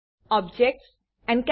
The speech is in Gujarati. objects encapsulation